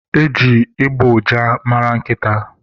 Eji ịgbọ ụja mara nkịta.